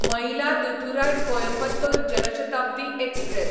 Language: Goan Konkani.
मयिलादुथुराय कोयंबतोर जन शताब्दी एक्सप्रॅस